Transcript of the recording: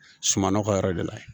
Suman ka yɛrɛ de la